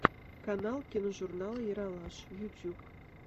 канал киножурнала ералаш ютюб